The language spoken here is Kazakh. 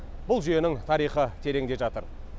бұл жүйенің тарихы тереңде жатыр